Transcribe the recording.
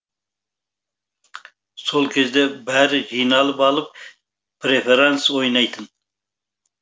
сол кезде бәрі жиналып алып префаранс ойнайтын